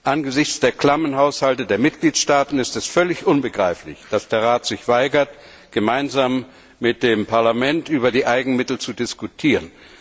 Angesichts der klammen Haushalte der Mitgliedstaaten ist es völlig unbegreiflich, dass der Rat sich weigert, gemeinsam mit dem Parlament über die Eigenmittel zu diskutieren.